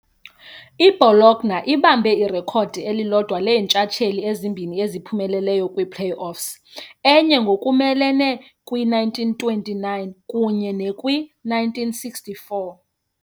I-Bologna ibambe irekhodi elilodwa leentshatsheli ezimbini eziphumeleleyo kwi-play-offs- enye ngokumelene kwi- 1929 kunye ne- kwi- 1964 .